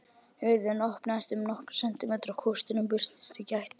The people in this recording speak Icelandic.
Hurðin opnaðist um nokkra sentimetra og kústurinn birtist í gættinni.